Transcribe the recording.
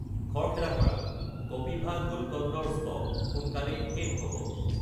খৰখেদা কৰা, কপিভা গুলকণ্ড ৰ ষ্টক সোনকালেই শেষ হ'ব।